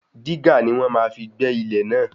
Dígà ni wọ́n fi máa gbẹ́ ilẹ̀ náà.